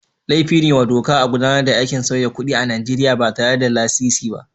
Laifin ne wa doka a gudanar da aikin sauyi kuɗi a Najeriya ba tare da lasisi ba.